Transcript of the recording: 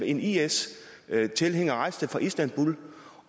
en is tilhænger rejste fra istanbul